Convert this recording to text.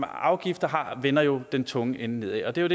afgifter vender jo den tunge ende nedad